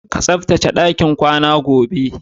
Ka tsaftace ɗakin kwanan, gobe!